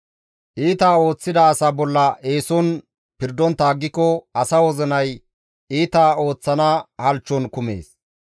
Iita ooththida asa bolla eeson pirdontta aggiko asa wozinay iita ooththana halchchon kumees.